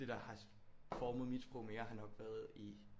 Det der har formet mit sprog mere har nok været i